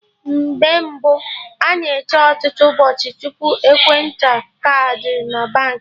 Mgbe mbụ, a na-eche ọtụtụ ụbọchị tupu enweta kaadị na Baankị